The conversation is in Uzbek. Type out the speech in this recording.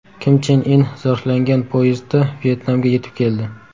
Kim Chen In zirhlangan poyezdda Vyetnamga yetib keldi.